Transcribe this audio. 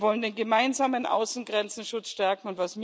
Wir wollen den gemeinsamen Außengrenzenschutz stärken.